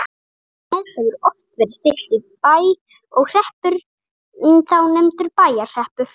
Nafnið hefur oft verið stytt í Bæ og hreppurinn þá nefndur Bæjarhreppur.